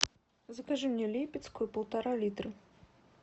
закажи мне липецкую полтора литра